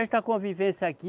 Esta convivência aqui